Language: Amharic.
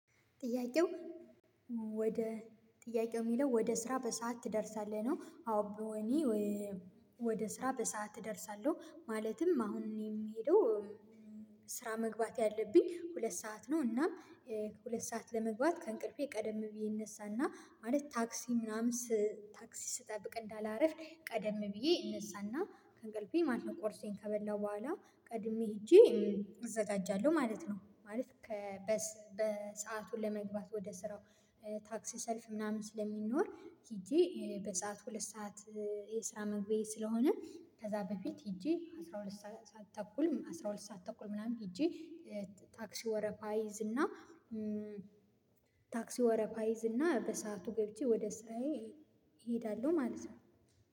ጥያቄው ወደ ጥያቄው የሚለው "ወደ ስራ በሰአት ትደርሳለህ?" ነው አዎ እኔ ወደ ስራ በሰአት እደርሳለሁ። ማለትም አሁን እኔ የምሄደው ስራ መግባት ያለብኝ ሁለት ሰዓት ነው እና ሁለት ሰዓት ለመግባት ከእንቅልፌ ቀደም ብዬ እነሳና ማለት ታክሲ ምናምን ታክሲ ስጠብቅ እንዳላረፍድ ቀደም ብዬ እነሳና ከእንቅልፌ ማለት ነው ቆርሴን ከበላሁ በኋላ ቀድሜ ሄጄ እዘጋጃለሁ ማለት ነው። ማለት በሰአቱ ለመግባት ወደ ስራው ታክሲ ሰልፍ ምናምን ስለሚኖር ሄጄ በሰአቱ ሁለት ሰዓት የስራ መግቢያዬ ስለሆነ ከዛ በፊት ሄጄ አስራ ሁለት ሰዓት ተኩል አስራ ሁለት ሰዓት ተኩል ምናምን ሄጄ ታክሲ ወረፋ እይዝና ታክሲ ወረፋ እይዝና በሰአቱ ገብቼ ወደ ስራዬ እሄዳለሁ ማለት ነው